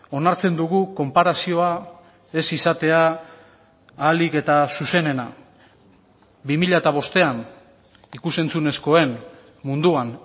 onartzen dugu konparazioa ez izatea ahalik eta zuzenena bi mila bostean ikus entzunezkoen munduan